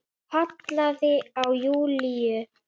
Kallaði á Júlíu.